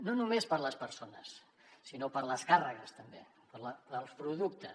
no només per a les persones sinó per a les càrregues també per als productes